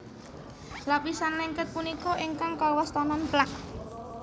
Lapisan lengket punika ingkang kawastanan plak